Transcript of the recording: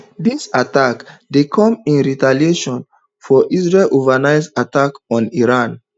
dis attack dey come in retaliation for israel overnight attack on iran